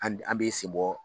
An b bɛ sen bɔ.